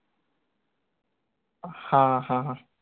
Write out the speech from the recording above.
हां हां हां